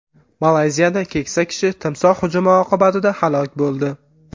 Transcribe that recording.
Malayziyada keksa kishi timsoh hujumi oqibatida halok bo‘ldi.